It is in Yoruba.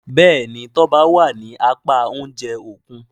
Béèni Toba wá ní apá oúnjẹ Òkun.